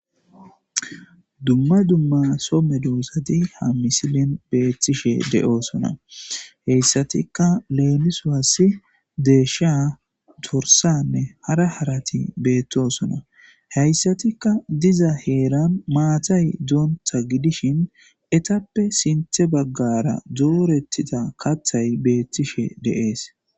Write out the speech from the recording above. dumma dumma so medosati ha misilin beettishe de7oosona heyssatikka leelisawassi deesha dorsanne hara harati beettosona heyssatikka diza heeran maatay doonta gidishin etappe sinthe baggara doorettida kathay beettishe deees